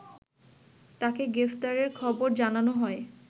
তাকে গ্রেপ্তারের খবর জানানো হয়